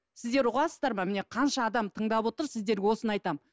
сіздер ұғасыздар ма міне қанша адам тыңдап отыр сіздерге осыны айтамын